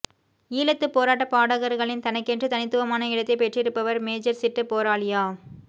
ஈழத்துப் போராட்டப் பாடகர்களில் தனக்கென்று தனித்துவமான இடத்தைப் பெற்றிருப்பவர் மேஜர் சிட்டு போராளியா